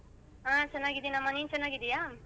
ಹಾ ಚನಾಗಿದೀನಮ್ಮ ನೀನ್ ಚನಾಗಿದೀಯಾ?